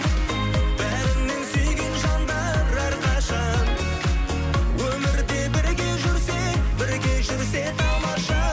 бәрінен сүйген жандар әрқашан өмірде бірге жүрсе бірге жүрсе тамаша